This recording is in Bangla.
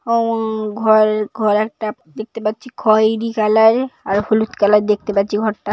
অ ঘরে ঘর একটা দেখতে পাচ্ছি খইরী কালার -এর। আর হলুদ কালার দেখতে পাচ্ছি ঘরটা।